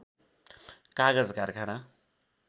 कागज कारखाना